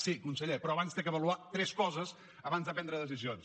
sí conseller però abans ha d’avaluar tres coses abans de prendre decisions